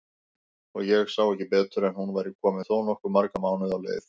Og ég sá ekki betur en hún væri komin þó nokkuð marga mánuði á leið!